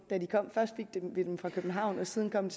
da de kom først fik vi dem for københavn og siden kom